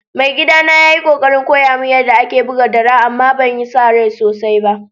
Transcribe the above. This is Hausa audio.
Mai gida na ya yi kokarin koya mun yada ake buga dara amma ban sa rai sosai ba.